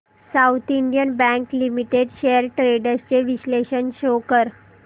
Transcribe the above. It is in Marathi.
south Indian Bank Limited shares trends चे विश्लेषण शो कर